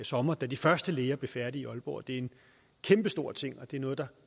sommer da de første læger blev færdige i aalborg det er en kæmpestor ting og det er noget der